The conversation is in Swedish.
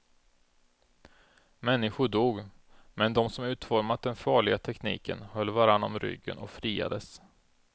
Människor dog, men de som utformat den farliga tekniken höll varann om ryggen och friades.